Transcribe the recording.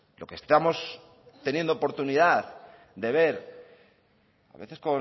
lo que estamos teniendo oportunidad de ver a veces